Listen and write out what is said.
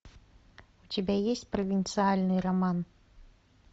у тебя есть провинциальный роман